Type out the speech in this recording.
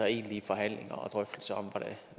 egentlige forhandlinger og drøftelser om